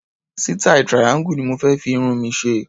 Sítáì triangle ni mo fé fi irun mi ṣe.